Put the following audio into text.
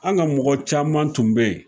An ka mɔgɔ caman tun be yen